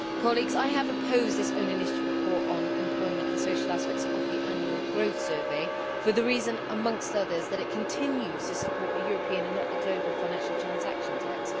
Mr President, I have opposed this own initiative report on employment and social aspects of the annual growth survey for the reason amongst others that it continues to support a European and not a global financial transaction tax.